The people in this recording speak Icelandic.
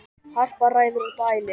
Harpa ræður og dælir.